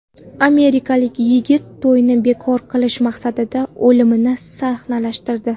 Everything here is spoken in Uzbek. Amerikalik yigit to‘yini bekor qilish maqsadida o‘limini sahnalashtirdi.